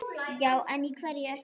Já en í hverju ertu?